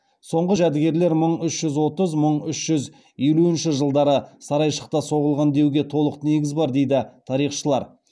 соңғы жәдігерлер мың үш жүз отыз мың үш жүз елуінші жылдары сарайшықта соғылған деуге толық негіз бар дейді тарихшылар